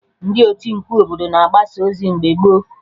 Ndị oti mkpu obodo na-agbasa ozi mgbe gboo